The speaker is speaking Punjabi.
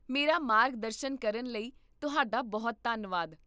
ਮੇਰਾ ਮਾਰਗਦਰਸ਼ਨ ਕਰਨ ਲਈ ਤੁਹਾਡਾ ਬਹੁਤ ਧੰਨਵਾਦ